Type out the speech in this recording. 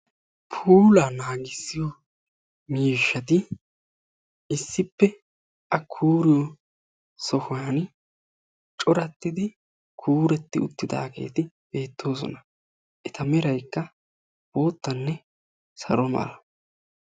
Puulaa naagissiyo mishshati issipe A kuuriyo sohuwan corattidi kuurettidi uttidageetlti beettosona eta meraykka boottanne salo mera.